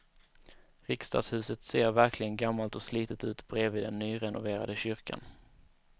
Riksdagshuset ser verkligen gammalt och slitet ut bredvid den nyrenoverade kyrkan.